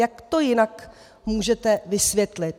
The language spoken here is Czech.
Jak to jinak můžete vysvětlit?